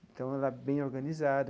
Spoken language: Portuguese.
Então, ela é bem organizada.